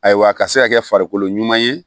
Ayiwa a ka se ka kɛ farikolo ɲuman ye